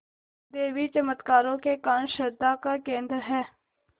देवी चमत्कारों के कारण श्रद्धा का केन्द्र है